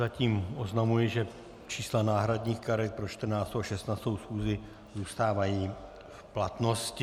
Zatím oznamuji, že čísla náhradních karet pro 14. a 16. schůzi zůstávají v platnosti.